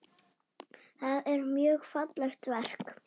Það er mjög fallegt verk.